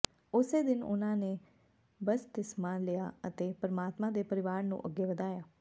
ਉਸੇ ਦਿਨ ਉਨ੍ਹਾਂ ਨੇ ਬਪਤਿਸਮਾ ਲਿਆ ਅਤੇ ਪਰਮਾਤਮਾ ਦੇ ਪਰਿਵਾਰ ਨੂੰ ਅੱਗੇ ਵਧਾਇਆ